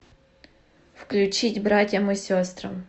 включить братьям и сестрам